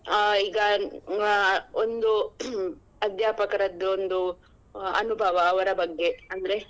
ಹ ಈಗ ಆ ಒಂದು ಅಧ್ಯಾಪಕರದ್ದು ಒಂದು ಅನುಭವ ಅವರ ಬಗ್ಗೆ ಅಂದ್ರೆ.